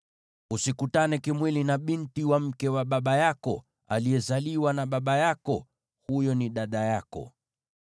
“ ‘Usikutane kimwili na binti wa mke wa baba yako, aliyezaliwa na baba yako; huyo ni dada yako.